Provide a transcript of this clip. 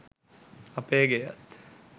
අපේ ගෙයත්